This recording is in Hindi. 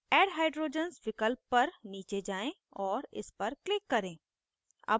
add hydrogens विकल्प तक नीचे जाएँ और इस पर click करें